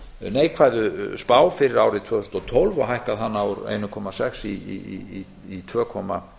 neikvæðu spá fyrir árið tvö þúsund og tólf og hækkað hana úr einum komma sex prósent í tvö komma